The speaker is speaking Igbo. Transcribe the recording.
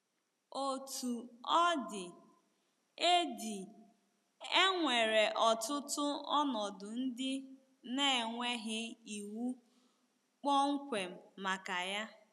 Otú ọ dị, e dị, e nwere ọtụtụ ọnọdụ ndị na-enweghị iwu kpọmkwem maka ya.